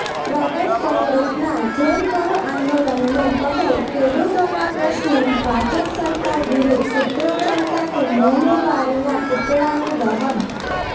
પ્રદેશ કોંગ્રેસના જેલભરો આંદોલનને પગલે ખેડૂતોના પ્રશ્ને ભાજપ સરકાર વિરૂધ્ધ સુત્રોચાર સાથે મોંઘવારીના પૂતળાનું દહન